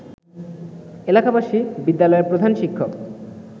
এলাকাবাসী বিদ্যালয়ের প্রধান শিক্ষক